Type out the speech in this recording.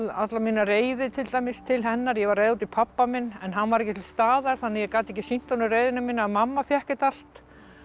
alla mína reiði til dæmis til hennar ég var reið út í pabba minn en hann var ekki til staðar þannig að ég gat ekki sýnt honum reiðina mína þannig að mamma fékk þetta allt